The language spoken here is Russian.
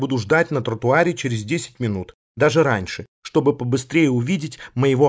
буду ждать на тротуаре через десять минут даже раньше чтобы побыстрее увидеть моего